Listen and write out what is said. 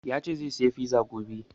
Ya ce zai saya fiza gobe